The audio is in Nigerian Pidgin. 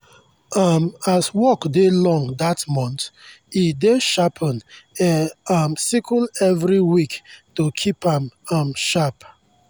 um as work dey long that month e dey sharpen e um sickle every week to keep am um sharp.